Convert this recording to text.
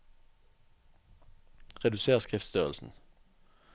Reduser skriftstørrelsen